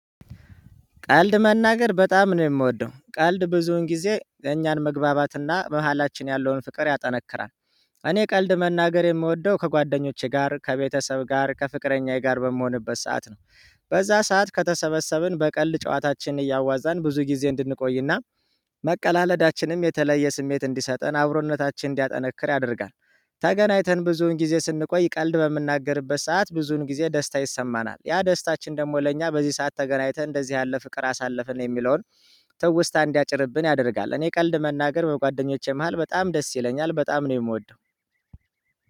ቀልድ መናገር በጣም ነው የምወደው ቀልድ ብዙን ጊዜ የእኛን መግባባትና በመሃላችን ያለውን ፍቅር ያጠነክራል። እኔ ቀልድ መናገር የምወደው ከጓደኞቼ ጋር ከቤተሰብ ጋር ከፍቅረኛዬ ጋር በምሆንበት ሰዓት ነው። በዛ ሰዓት ከተሰበሰብን በቀልድ ጨዋታችን እያዋዛን ብዙ ጊዜ እንድንቆይና መቀላለዳችንም የተለየ ስሜት እንዲሰጠን አብሮነታችን እንዲያጠነክር ያደርጋል። ተገናይተን ብዙን ጊዜ ስንቆይ ቀልድ በምናገርበት ሰዓት ብዙን ጊዜ ደስታ ይሰማናል ያ ደስታችን ደግሞ ለእኛ በዚህ ሰዓት ተገናኝተን እንደዚህ ያለ ፍቅር አሳለፍን የሚለውን ትውስታ እንዲያጭርብን ያደርጋል። እኔ ቀልድ መናገር በጓደኞቼ መሃል በጣም ደስ ይለኛል በጣም ነው የምወደው።